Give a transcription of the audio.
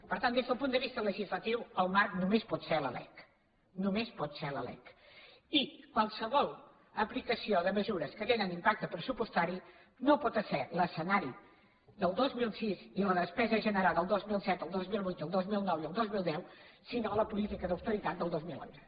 per tant des del punt de vista legislatiu el marc només pot ser la lec només pot ser la lec i qualsevol aplicació de mesures que tenen impacte pressupostari no pot esser l’escenari del dos mil sis ni la despesa generada el dos mil set el dos mil vuit i el dos mil nou i el dos mil deu sinó la política d’austeritat del dos mil onze